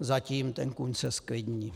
zatím ten kůň se zklidní.